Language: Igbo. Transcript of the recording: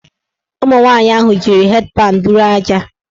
Ụmụnwanyị ahụ jiri hed panụ bụrụ aja.